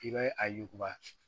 I bɛ a yuguba